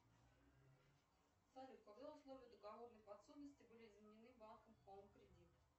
салют когда условия договорной подсудности были изменены банком хоум кредит